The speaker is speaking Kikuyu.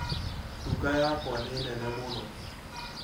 Nduka yakwa nĩ nene mũno